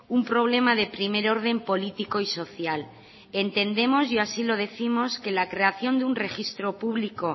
un problema de primer orden político y social entendemos y así lo décimos que la creación de un registro público